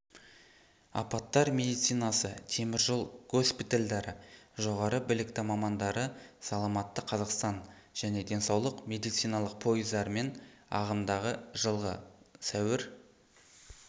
апаттар медицинасы теміржол госпитальдары жоғары білікті мамандары саламатты қазақстан және денсаулық медициналық пойыздарымен ағымдағы жылғы сәуір